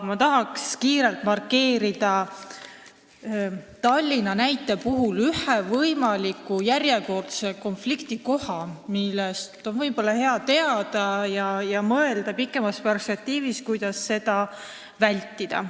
Ma tahan kiirelt Tallinna näitel markeerida ühe järjekordse võimaliku konfliktikoha – võib-olla on hea seda teada ja pikemas perspektiivis mõelda, kuidas seda vältida.